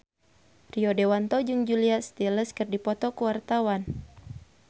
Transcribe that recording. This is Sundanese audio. Rio Dewanto jeung Julia Stiles keur dipoto ku wartawan